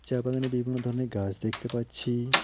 চা বাগানে বিভিন্ন ধরনের গাস দেখতে পাচ্ছি।